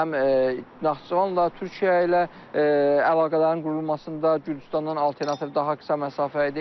Həm Naxçıvanla, Türkiyə ilə əlaqələrin qurulmasında, Gürcüstandan alternativ daha qısa məsafə idi.